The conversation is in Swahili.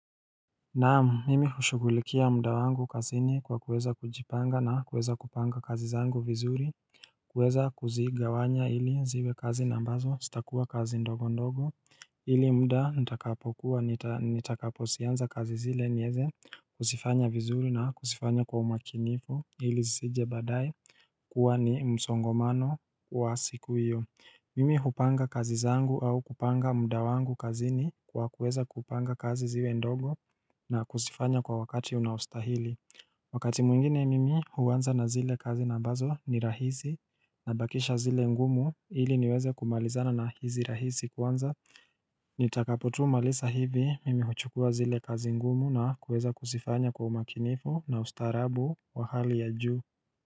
Naamu mimi hushukulikia mda wangu kazini kwa kuweza kujipanga na kuweza kupanga kazi zangu vizuri kuweza kuzigawanya ili ziwe kazi nambazo sitakuwa kazi ndogo ndogo Ili mda nitakapo kua nitakapo sianza kazi zile nyeze Kusifanya vizuri na kusifanya kwa umakinifu ili zizije badai kuwa ni msongomano wa siku iyo Mimi hupanga kazi zangu au kupanga mda wangu kazini kwa kuweza kupanga kazi ziwe ndogo na kusifanya kwa wakati unaostahili Wakati mwingine mimi huwanza na zile kazi na bazo ni rahisi Nabakisha zile ngumu ili niweze kumalizana na hizi rahisi kwanza Nitakapotu malisa hivi mimi huchukua zile kazi ngumu na kuweza kusifanya kwa umakinifu na ustarabu wa hali ya juu.